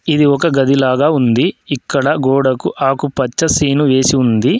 ఇది ఒక గదిలాగా ఉంది. ఇక్కడ గోడకు ఆకుపచ్చ సీను వేసి ఉంది.